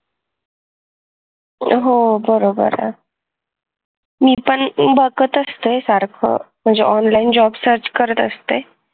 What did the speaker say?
बरोबर मी पण बघत असते सारखं म्हणजे online job search करत असते